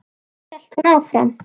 Svo hélt hún áfram: